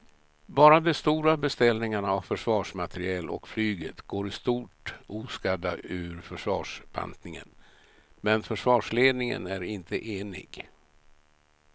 Bara de stora beställningarna av försvarsmateriel och flyget går i stort oskadda ur försvarsbantningen men försvarsledningen är inte enig.